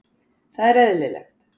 Það er eðlilegt.